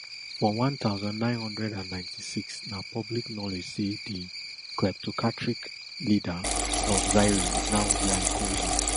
for one thousand, nine hundred and ninety-six na public knowledge say di kleptocratic leader of zaire now dr congo